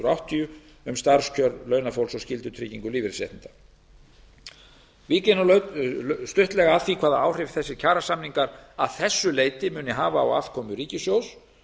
hundruð áttatíu um starfskjör launafólks og skyldutryggingu lífeyrisréttinda vík ég nú stuttlega að því hvaða áhrif kjarasamningar að þessu leyti muni hafa á afkomu ríkissjóðs